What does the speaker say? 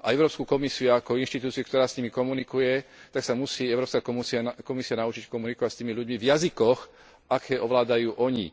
a Európsku komisiu ako inštitúciu, ktorá s nimi komunikuje, tak sa musí Európska komisia naučiť komunikovať s tými ľuďmi v jazykoch, aké ovládajú oni.